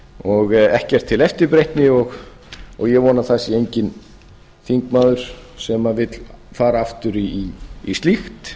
og ekkert til eftirbreytni og ég vona að það sé enginn þingmaður sem vill fara aftur í slíkt